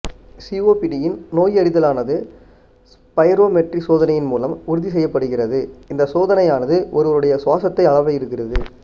சிஓபிடியின் நோயறிதலானது ஸ்பைரோமெட்ரி சோதனையின் மூலம் உறுதி செய்யப்படுகிறது இந்த சோதனையானது ஒருவருடைய சுவாசத்தை அளவிடுகிறது